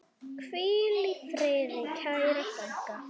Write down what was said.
Hvíl í friði, kæra frænka.